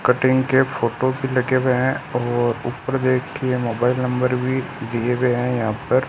Cutting के photo भी लगे हुए हैं और ऊपर देखिए मोबाइल नंबर भी दिए गए हैं यहां पर।